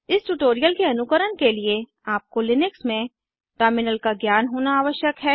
इस ट्यूटोरियल के अनुकरण के लिए आपको लिनक्स में टर्मिनल का ज्ञान होना आवश्यक है